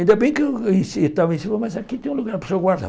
Ainda bem que eu em ci estava em cima, mas aqui tem um lugar para o senhor guardar.